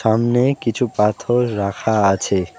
সামনে কিছু পাথর রাখা আছে।